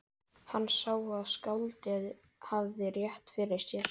Hann sá að skáldið hafði rétt fyrir sér.